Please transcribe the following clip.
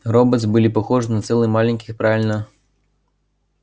роботс были похожи на целый маленьких правильно